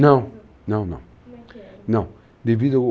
Não, não, não. Como é que era? não, devido